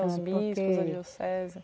Os bispos,